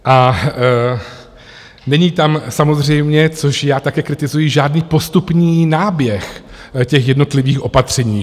A není tam samozřejmě, což já také kritizuji, žádný postupný náběh těch jednotlivých opatření.